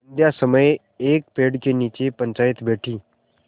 संध्या समय एक पेड़ के नीचे पंचायत बैठी